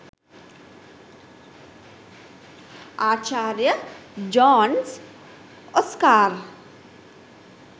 ආචාර්ය Jones Oscar